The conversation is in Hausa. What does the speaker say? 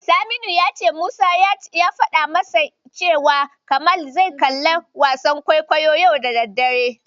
Saminu ya ce Musa ya faɗa masa cewa Kamal zai kalli wasan kwaikwayo yau da daddare.